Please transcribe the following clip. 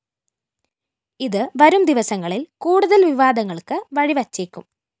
ഇത് വരും ദിവസങ്ങളില്‍ കുടുതല്‍ വിവാദങ്ങള്‍ക്ക് വഴിവെച്ചേക്കും